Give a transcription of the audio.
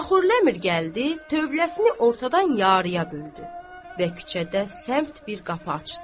Axur ləmir gəldi, tövləsini ortadan yarıya böldü və küçədə səmt bir qapı açdı.